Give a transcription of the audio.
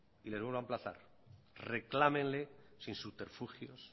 y les vuelvo a emplazar reclámenle sin subterfugios